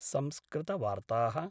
संस्कृतवार्ताः